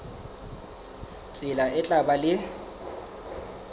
tsela e tla ba le